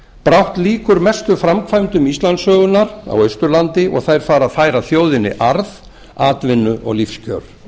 brátt lýkur mestu framkvæmdum íslandssögunnar á austurlandi og þær fara að færa þjóðinni arð atvinnu og lífskjör